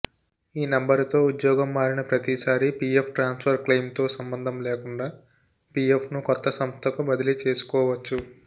ఈ నెంబరుతో ఉద్యోగం మారిన ప్రతిసారి పీఎఫ్ ట్రాన్సుఫర్ క్లెయిమ్తో సంబంధం లేకుండా పీఎఫ్ను కొత్త సంస్థకు బదలీ చేసుకోవచ్చు